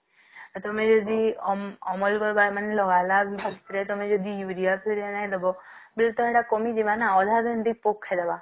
ଆଉ ତମେ ଯଦି ଅମ~ଅମଲ କରିବାର ଲାଗି ଲଗାଇଲ ତମେ ଯଦି ଉରିଆ ସାର ନାଇଁ ଦବ ବିଲ ତ ସେଟା କମି ଯିବ ନାଁ ଅଧ ମଣ୍ଡି ପୋକ ଖାଇଦବା